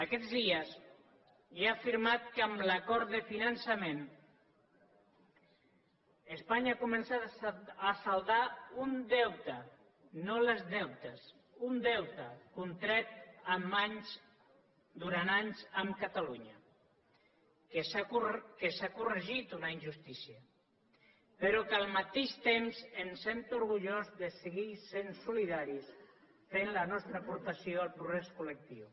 aquests dies he afirmat que amb l’acord de finançament espanya ha començat a saldar un deute no els deutes un deute contret durant anys amb catalunya que s’ha corregit una injustícia però que al mateix temps em sento orgullós de seguir sent solidaris fent la nostra aportació al progrés col·lectiu